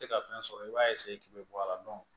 Tɛ ka fɛn sɔrɔ i b'a k'i bɛ bɔ a la